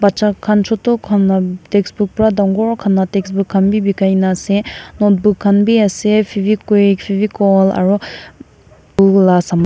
bachakhan choto khan laa textbook para dangor khan laga textbook khan bi bikaina ase notebook khan bi ase fevikwik fevicol aru .]